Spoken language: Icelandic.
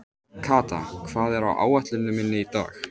Kata, hvað er á áætluninni minni í dag?